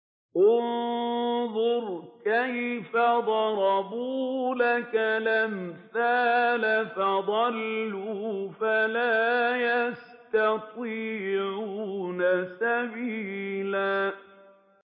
انظُرْ كَيْفَ ضَرَبُوا لَكَ الْأَمْثَالَ فَضَلُّوا فَلَا يَسْتَطِيعُونَ سَبِيلًا